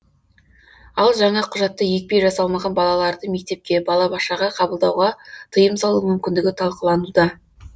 ал жаңа құжатта екпе жасалмаған балаларды мектепке балабақшаға қабылдауға тыйым салу мүмкіндігі талқылануда